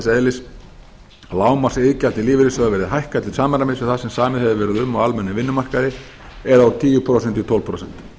eðlis að lágmarksiðgjald til lífeyrissjóða verði hækkað til samræmis við það sem samið hefur verið um á almennum vinnumarkaði eða úr tíu prósent í tólf prósent